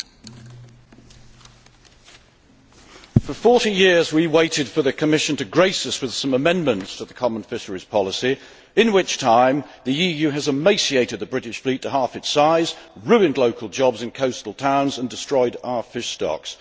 Mr President, for 40 years we waited for the Commission to grace us with some amendments to the common fisheries policy, in which time the EU has emaciated the British fleet to half its size, ruined local jobs and coastal towns and destroyed our fish stocks.